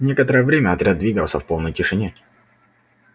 некоторое время отряд двигался в полной тишине